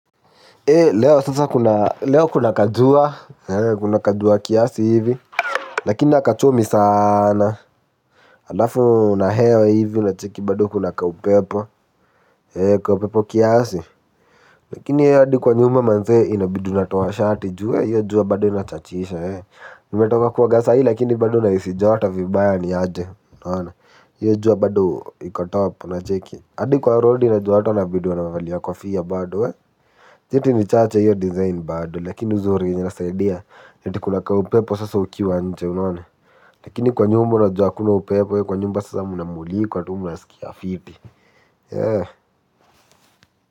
Hei leo sasa kuna kajua kiasi hivi. Lakini nakachomi sana. Alafu na hewa hivi unacheki bado kuna kaupepo. Hei kaupepo kiasi. Lakini hei adi kwa nyumba manzee inabidu natoa shati jua. Hiyo jua bado inachachisha hei. Nimetoka kuoga sa hii lakini bado na isi joto vibaya ni aje unana. Hiyo jua bado ikotop unacheki. Adi kwa rodi ina jua na bidi wanavali a kofia badu hei. Jeti ni chache hiyo design bado lakini uzuri inasaidia yati kunaka upepo sasa ukiwa anje unaona. Lakini kwa nyumba unajua akuna upepo ya kwa nyumau sasa munamulikwa tu muna sikia fiti.